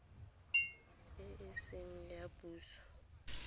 e e seng ya puso